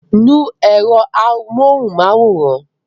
Nu èrò amóhunmáwòrán!